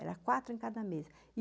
Era quatro em cada mesa.